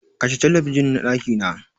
Kashe Talabijin na ɗakina!